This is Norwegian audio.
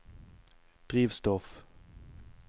drivstoff